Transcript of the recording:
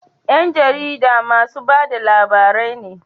Yan jarida masu bada labarai ne